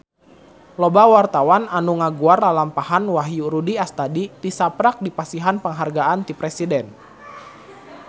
Loba wartawan anu ngaguar lalampahan Wahyu Rudi Astadi tisaprak dipasihan panghargaan ti Presiden